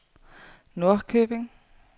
Norrköping